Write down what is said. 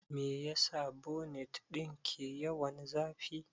Meyasa bonet ɗin ke yawan zafi?